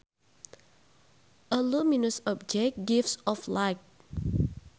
A luminous object gives off light